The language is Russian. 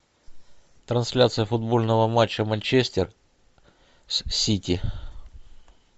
трансляция футбольного матча манчестер с сити